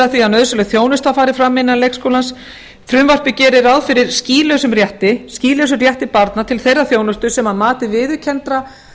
því að nauðsynleg þjónusta fari fram innan leikskólans frumvarpið gerir ráð fyrir skýlausum rétti barna til þeirrar þjónustu sem að mati viðurkenndra